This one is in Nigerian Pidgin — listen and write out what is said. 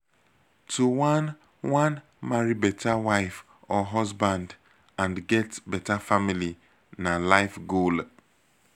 to wan wan marry better wife or husband and get bettr family na life goal